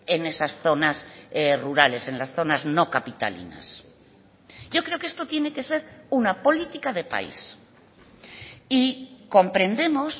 en esas zonas rurales en las zonas no capitalinas yo creo que esto tiene que ser una política de país y comprendemos